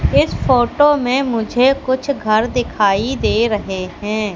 इस फोटो में मुझे कुछ घर दिखाई दे रहे हैं।